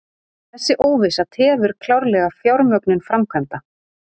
Þessi óvissa tefur klárlega fjármögnun framkvæmda